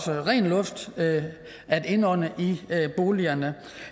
ren luft at indånde i boligerne